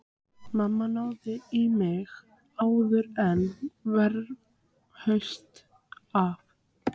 Mamma náði í mig áður en verra hlaust af.